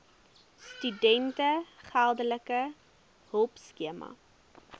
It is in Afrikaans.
studente geldelike hulpskema